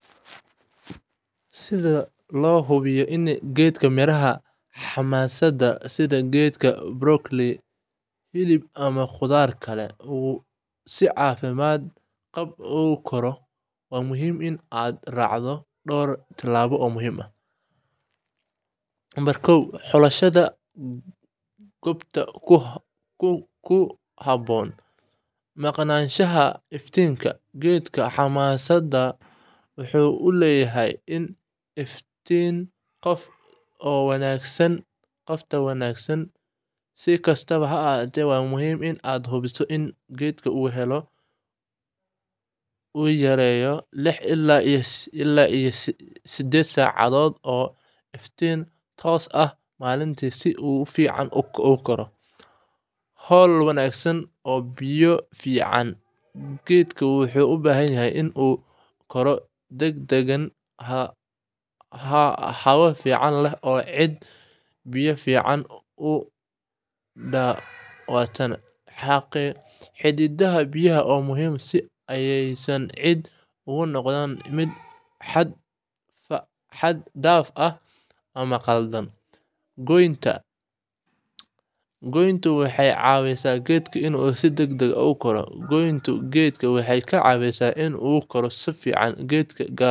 Si loo hubiyo in geedka miraha xamaasaddu sida geedka brokolli, hilib ama khudaarta kale uu si caafimaad qaba ugu koro, waxaa muhiim ah inaad raacdo dhowr tillaabo oo muhiim ah: Xulashada Goobta Ku Haboon: Maqnaanshaha Iftiinka: Geedka xamaasadda wuxuu u baahan yahay iftiin qofta oo wanaagsan. Si kastaba ha ahaatee, waa muhiim inaad hubiso in geedku uu helo ugu yaraan lix-sided saacadood oo iftiin toos ah maalintii, si uu si fiican ugu koro. Hawo-wanaagsan iyo Biyo fiican: Geedku wuxuu u baahan yahay in uu ku koro deegaan hawo fiican leh iyo ciidda biyaha si fiican u daataan. Xadididda biyaha waa muhiim si aysan ciidda ugu noqoto mid xad-dhaaf ah ama qalalan. Goynta Pruning: Goyntu waxay caawisaa geedka inuu si degdeg ah u koro: Goynta geedku waxay ka caawisaa inuu koro si fiican, gaar ahaan marka.